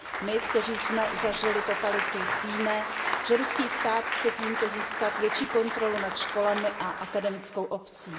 My, kteří jsme zažili totalitu, víme, že ruský stát chce tímto získat větší kontrolu nad školami a akademickou obcí.